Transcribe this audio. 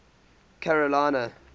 carolina